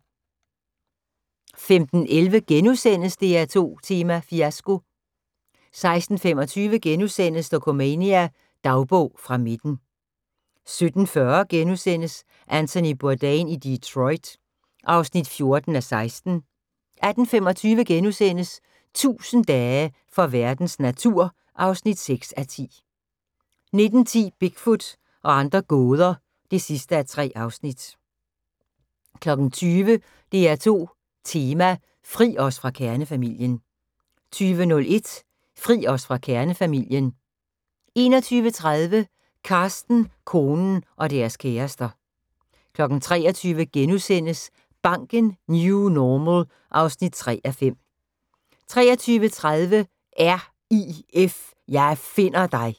15:11: DR2 Tema: Fiasko * 16:25: Dokumania: Dagbog fra midten * 17:40: Anthony Bourdain i Detroit (14:16)* 18:25: 1000 dage for verdens natur (6:10)* 19:10: Bigfoot og andre gåder (3:3) 20:00: DR2 Tema: Fri os fra kernefamilien 20:01: Fri os fra kernefamilien 21:30: Carsten, konen – og deres kærester 23:00: Banken - New Normal (3:5)* 23:30: R.I.F. – jeg finder dig!